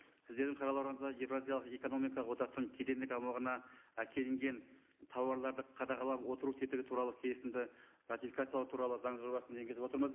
сіздердің қарауларыңызға еуразиялық экономикалық одақтың кедендік аумағына әкелінген тауарларды қадағалап отыру тетігі туралы келісімді ратификациялау туралы заң жобасын енгізіп отырмыз